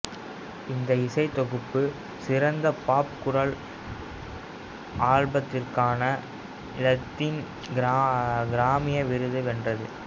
இந்த இசைத்தொகுப்பு சிறந்த பாப் குரல் ஆல்பத்திற்கான இலத்தீன் கிராமி விருதை வென்றது